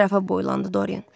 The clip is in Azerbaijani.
Ətrafa boylandı Doryan.